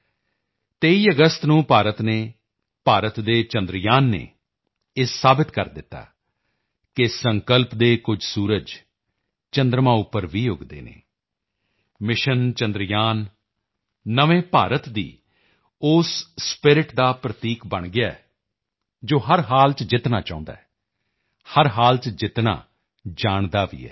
ਮੇਰੇ ਪਰਿਵਾਰਜਨ 23 ਅਗਸਤ ਨੂੰ ਭਾਰਤ ਨੇ ਅਤੇ ਭਾਰਤ ਦੇ ਚੰਦਰਯਾਨ ਨੇ ਇਹ ਸਾਬਤ ਕਰ ਦਿੱਤਾ ਹੈ ਕਿ ਸੰਕਲਪ ਦੇ ਕੁਝ ਸੂਰਜ ਚੰਦਰਮਾ ਉੱਪਰ ਵੀ ਉੱਗਦੇ ਹਨ ਮਿਸ਼ਨ ਚੰਦਰਯਾਨ ਨਵੇਂ ਭਾਰਤ ਦੀ ਉਸ ਸਪਿਰਿਟ ਦਾ ਪ੍ਰਤੀਕ ਬਣ ਗਿਆ ਹੈ ਜੋ ਹਰ ਹਾਲ ਚ ਜਿੱਤਣਾ ਚਾਹੁੰਦਾ ਹੈ ਅਤੇ ਹਰ ਹਾਲ ਚ ਜਿੱਤਣਾ ਜਾਣਦਾ ਵੀ ਹੈ